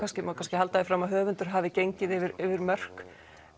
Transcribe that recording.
má kannski halda því fram að höfundur hafi gengið yfir yfir mörk